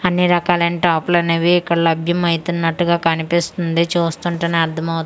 అన్నిరకాలం టాప్లనేవి ఇక్కడ లభ్యం అయితున్నట్టుగా కనిపిస్తుంది చూస్తుంటెనే అర్దమవు--